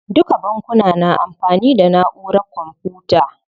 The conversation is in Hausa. Duka bankuna na amfani da naʼurar kwamfuta.